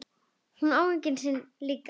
Hún á engan sinn líka.